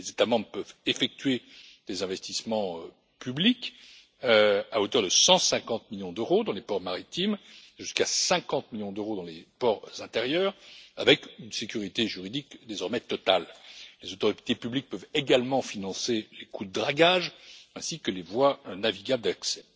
Les États membres peuvent effectuer des investissements publics à hauteur de 150 millions d'euros dans les ports maritimes et jusqu'à 50 millions d'euros dans les ports intérieurs, avec une sécurité juridique désormais totale. Les autorités publiques peuvent également financer les coûts de dragage, ainsi que les voies navigables d'accès.